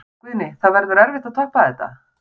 Guðný: Það verður erfitt að toppa þetta?